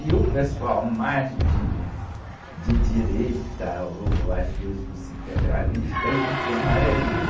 E o pessoal mais de, de direita, ou às vezes os integralistas, iam para o amarelinho.